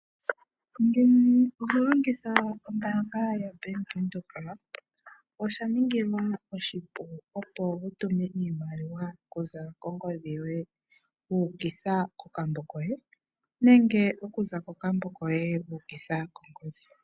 Ngele oho longitha ombaanga yo Bank Windhoek oshaningilwa oshipu opo wutume iimaliwa okuza kongodhi yoye wu ukitha kokambo koye nenge okuza kokambo koye wu ukitha kongodhi yoye.